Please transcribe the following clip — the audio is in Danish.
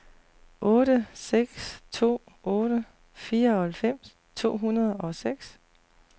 otte seks to otte fireoghalvfems to hundrede og seks